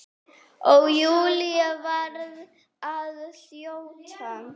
Og Júlía varð að þjóta.